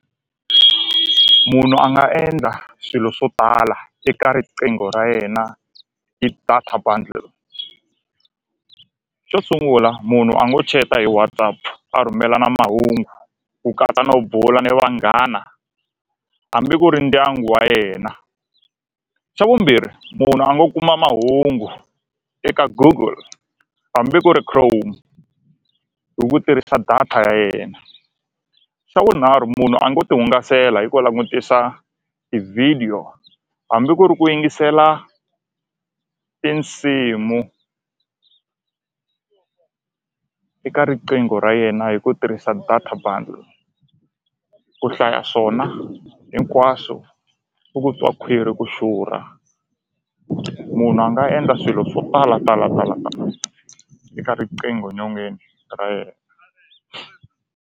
Munhu a nga endla swilo swo tala eka riqingho ra yena hi data bundle xo sungula munhu a ngo chat-a hi WhatsApp a rhumelana mahungu ku katsa no bula ni vanghana hambi ku ri ndyangu wa yena xa vumbirhi munhu a ngo kuma mahungu eka Google hambi ku ri Chrome hi ku tirhisa data ya yena xa vunharhu munhu a ngo ti hungasela hi ku langutisa tivhidiyo hambi ku ri ku yingisela tinsimu eka riqingho ra yena hi ku tirhisa data bundle ku hlaya swona hinkwaswo u ku twa khwiri ku xurha munhu a nga endla swilo swo talatala talatala eka riqingho nyongeni ra yena.